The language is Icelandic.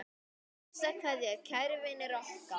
HINSTA KVEÐJA Kæri vinur okkar.